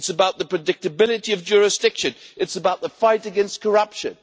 It is about the predictability of jurisdiction, it is about the fight against corruption.